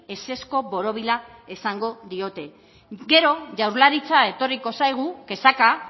ezezko borobila esango diote gero jaurlaritza etorriko zaigu kexaka